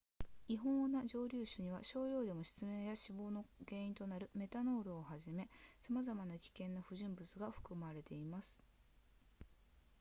違法な蒸留酒には少量でも失明や死亡の原因となるメタノールをはじめさまざまな危険な不純物が含まれています